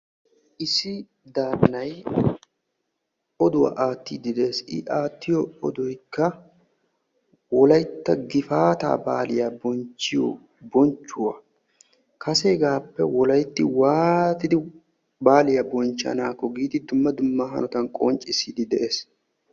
issi daraphphay oduwaa aattide de'ees. I aattiyo odoykka Wolaytta gifaata baaliya bonchchiyo bonchchuwaa kaseegappe waati wolaytti waattidi baaliyaa bonchchanakko giidi dumma dumma hanotan qonccissiidi de'ees.